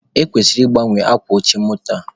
E kwesịrị ị gbanwe akwa oche moto a.